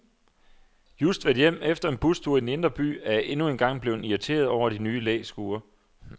Just vendt hjem efter en bustur i den indre by er jeg endnu en gang blevet irriteret over de nye læskure.